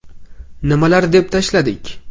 Nimalar deb tashladik?